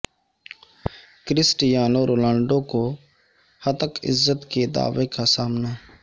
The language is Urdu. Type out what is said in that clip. کرسٹیانو رونالڈو کو ہتک عزت کے دعوے کا سامنا